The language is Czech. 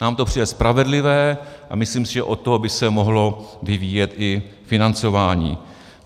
Nám to přijde spravedlivé a myslím si, že od toho by se mohlo vyvíjet i financování.